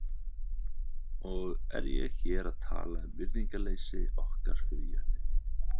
Og er ég hér að tala um virðingarleysi okkar fyrir jörðinni.